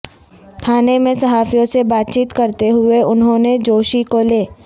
تھانے میں صحافیوں سے بات چیت کرتے ہوئے انہوں نے جوشی کو لے